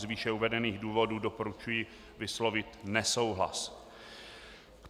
Z výše uvedených důvodů doporučuji vyslovit nesouhlas.